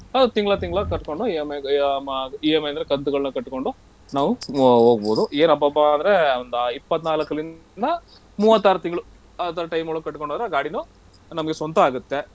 ಅದ್ ತಿಂಗ್ಳ ತಿಂಗ್ಳ ಕಟ್ಕೊಂಡು EMI EMI ಅಂದ್ರೆ ಕಂತುಗಳನ್ನು ಕಟ್ಕೊಂಡು ನಾವು ಹೊಗ್ಬೋದು. ಏನ್ ಅಬ್ಬಬ್ಬಾ ಅಂದ್ರೆ ಒಂದ ಇಪ್ಪತ್ ನಾಲ್ಕ್ ಳಿಂದ ಮೂವತ್ತಾರ್ ತಿಂಗ್ಳು ಆ ತರ time ಒಳಗೆ ಕಟ್ಕೊಂಡ್ ಹೋದ್ರೆ ಗಾಡಿನೂ ನಮಗೆ ಸ್ವಂತ ಆಗುತ್ತೆ.